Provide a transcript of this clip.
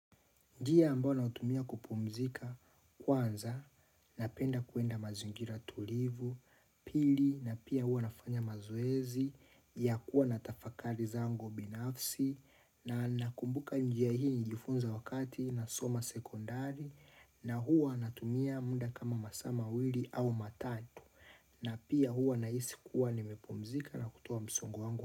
Njia ambayo nautumia kupumzika kwanza napenda kwenda mazingira tulivu, pili na pia hua nafanya mazoezi ya kuwa natafakari zangu binafsi na nakumbuka njia hii njilijifunza wakati na soma sekondari na hua natumia muda kama masaa mawili au matatu na pia huwa nahisi kuwa nimepumzika na kutoa msongo wangu.